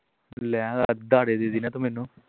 ਲੈਆਂ ਉਧਾਰੇ ਦੇ ਦੇ ਵੀ ਨਾ ਤੂੰ ਮੈਨੂੰ